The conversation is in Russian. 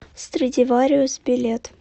страдивариус билет